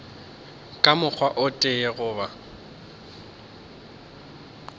ka mokgwa o tee goba